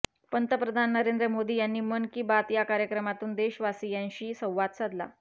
पंतप्रधान नरेंद्र मोदी यांनी मन की बात कार्यक्रमातून देशवासियांशी संवाद साधला